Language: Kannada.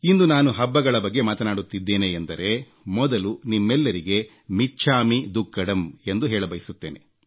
ಇಂದು ನಾನು ಹಬ್ಬಗಳ ಬಗ್ಗೆ ಮಾತನಾಡುತ್ತಿದ್ದೇನೆ ಎಂದರೆ ಮೊದಲು ನಿಮ್ಮೆಲ್ಲರಿಗೆ ಮಿಚ್ಛಾಮಿ ದುಕ್ಕಡಮ್ ಎಂದು ಹೇಳಬಯಸುತ್ತೇನೆ